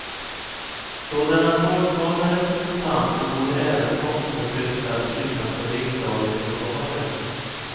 Sådana folkvalda representanter borde även tvångsförflyttas utanför riksdagens lokaler.